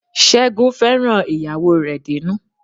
Ṣẹ́gun fẹ́ràn ìyàwó rè dénú